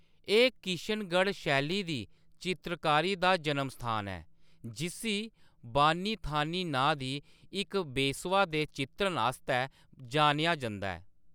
एह्‌‌ किशनगढ़ शैली दी चित्रकारी दा जन्मस्थान ऐ, जिस्सी बानी थानी नांऽ दी इक बेसवा दे चित्रण आस्तै जानेआ जंदा ऐ।